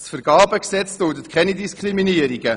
Das Vergabegesetz duldet keine Diskriminierungen.